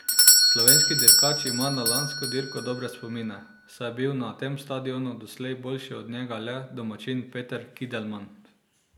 Slovenski dirkač ima na lansko dirko dobre spomine, saj je bil na tem stadionu doslej boljši od njega le domačin Peter Kildemand.